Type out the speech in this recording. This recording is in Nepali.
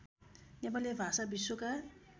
नेपाली भाषा विश्वका